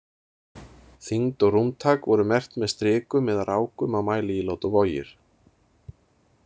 Þyngd og rúmtak voru merkt með strikum eða rákum á mæliílát og vogir.